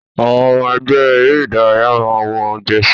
Àwọn ọmọ ẹgbẹ́ eré ìdárayá máa n wọ jẹsí.